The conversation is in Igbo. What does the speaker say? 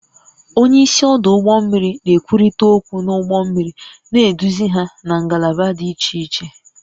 Onye isi ọdụ ụgbọ mmiri na-ekwurịta okwu na ụgbọ mmiri, na-eduzi ha na ngalaba dị iche iche